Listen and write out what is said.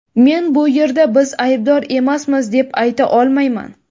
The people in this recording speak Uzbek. Men bu yerda biz aybdor emasmiz deb ayta olmayman .